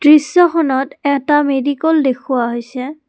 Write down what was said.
দৃশ্যখনত এটা মেডিকল দেখুওৱা হৈছে।